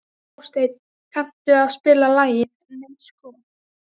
Hásteinn, kanntu að spila lagið „Nei sko“?